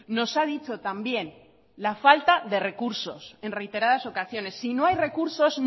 nos ha dicho también la falta de recursos en reiteradas ocasiones si no hay recursos